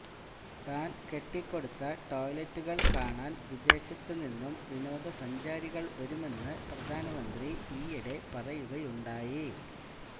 താന് കെട്ടിക്കൊടുത്ത ടോയ്ലെറ്റുകള് കാണാന് വിദേശത്തുനിന്നു വിനോദസഞ്ചാരികള് വരുമെന്ന് പ്രധാനമന്ത്രി ഈയിടെ പറയുകയുണ്ടായി